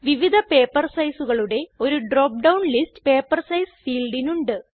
വിവിധ പേപ്പർ sizeകളുടെ ഒരു drop down list paper size ഫീൽഡിനുണ്ട്